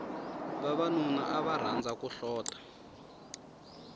vavanuna ava rhandza ku hlota